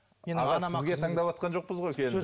аға сізге таңдаватқан жоқпыз ғой